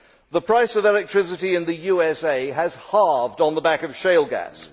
The price of electricity in the USA has halved on the back of shale gas.